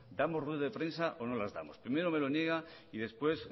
damos ruedas de prensa o no las damos primero me lo niega y después